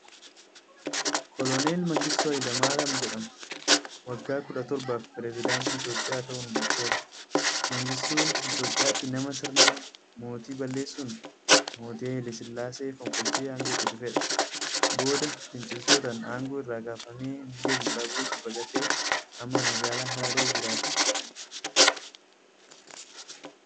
Koloneel Mangistuu Hayilamaaram jedhama. Waggaa kudha torbaaf Pireezedaantii Itoophiyaa ta'uun bulcheera. Mangistuun Itoophiyaatti nama sirna mootii baalleessun Mootii Hayilee Sillaasee fonqolchee aangotti dhufeedha. Booda finciiltootaan aangoo irraa kaafamee biyya Zimbaabuweetti baqatee amma magaalaa Hararee jiraata.